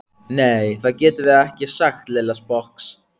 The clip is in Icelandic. Nei, það getum við ekki sagði Lilla sposk.